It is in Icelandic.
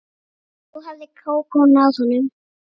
Nú hafði Kókó náð honum.